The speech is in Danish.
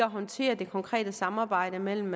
håndtere det konkrete samarbejde mellem